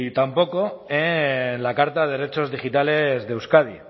tampoco en la carta de derechos digitales de euskadi